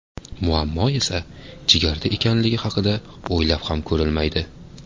Muammo esa jigarda ekanligi haqida o‘ylab ham ko‘rilmaydi.